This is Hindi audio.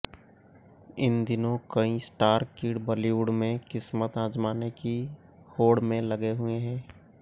इन दिनों कई स्टार किड बॉलीवुड में किस्मत आजमाने की होड में लगे हुए हैं